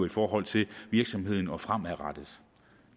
i forhold til virksomheden og det fremadrettede